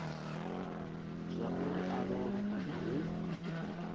zwauri a lovhe kana hu